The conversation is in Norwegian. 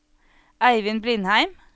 Eivind Blindheim